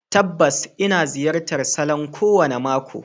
Tabbas, ina ziyartar salon kowane mako.